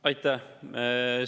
Aitäh!